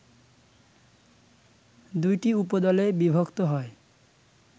দুইটি উপদল এ বিভক্ত হয়